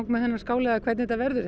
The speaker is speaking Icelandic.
með þennan skála eða hvernig þetta verður